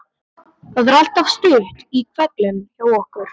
Það er alltaf stutt í hvellinn hjá okkur.